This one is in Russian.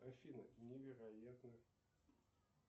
афина невероятно